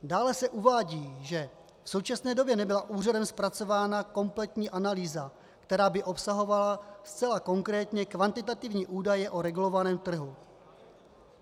Dále se uvádí, že v současné době nebyla úřadem zpracována kompletní analýza, která by obsahovala zcela konkrétně kvantitativní údaje o regulovaném trhu.